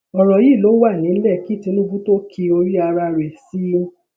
ọrọ yí ló wà nílẹ kí tinúbù tó o kí orí ara rẹ sí i